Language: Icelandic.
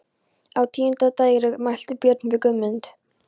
Á tíunda dægri mælti Björn við Guðmund